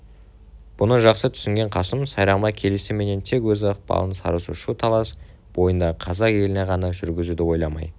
бұны жақсы түсінген қасым сайрамға келісіменен тек өз ықпалын сарысу шу талас бойындағы қазақ еліне ғана жүргізуді ойламай